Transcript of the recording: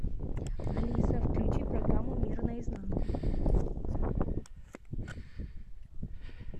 алиса включи программу мир наизнанку